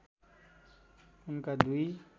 उनका दुई